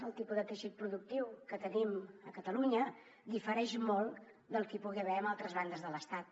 el tipus de teixit productiu que tenim a catalunya difereix molt del que hi pugui haver en altres bandes de l’estat